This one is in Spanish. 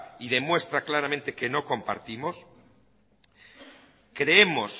y demuestra claramente que no compartimos creemos